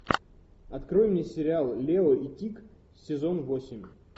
открой мне сериал лео и тиг сезон восемь